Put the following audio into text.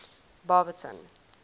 baberton